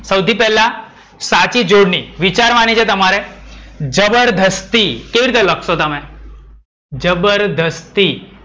સૌથી પેલ્લા, સાચી જોડણી વિચારવાની છે તમારે. જબરજસ્તી કેવી રીતે લખસો તમે? જબરજસ્તી.